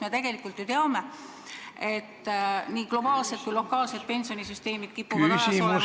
Me ju tegelikult teame, et nii globaalsed kui ka lokaalsed pensionisüsteemid kipuvad hädas olema ...